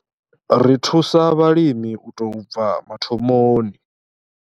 Ri thusa vhalimi u tou bva mathomoni.